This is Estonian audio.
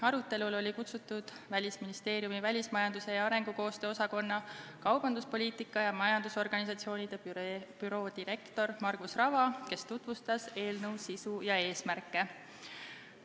Arutelule oli kutsutud Välisministeeriumi välismajanduse ja arengukoostöö osakonna kaubanduspoliitika ja majandusorganisatsioonide büroo direktor Margus Rava, kes tutvustas eelnõu sisu ja eesmärke.